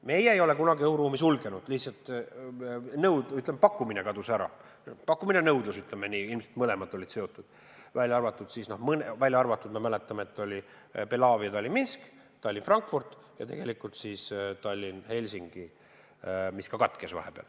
Meie ei ole kunagi õhuruumi sulgenud, lihtsalt pakkumine kadus ära – ja pakkumine ja nõudlus on ju seotud – välja arvatud, me mäletame, Belavia firma Tallinn–Minsk, samuti Tallinn–Frankfurt ja tegelikult ka Tallinn–Helsingi, mis samuti katkes vahepeal.